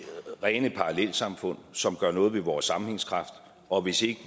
rene parallelsamfund som gør noget ved vores sammenhængskraft og hvis vi